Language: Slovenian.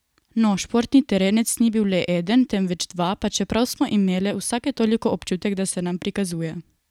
No, športni terenec ni bil le eden, temveč dva, pa čeprav smo imeli vsake toliko občutek, da se nam prikazuje.